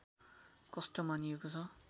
कष्ट मानिएको छ